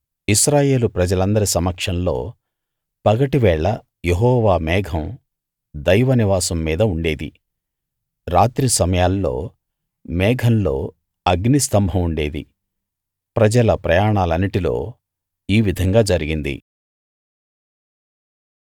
ఇశ్రాయేలు ప్రజలందరి సమక్షంలో పగటివేళ యెహోవా మేఘం దైవనివాసం మీద ఉండేది రాత్రి సమయాల్లో మేఘంలో అగ్ని స్థంభం ఉండేది ప్రజల ప్రయాణాలన్నిటిలో ఈ విధంగా జరిగింది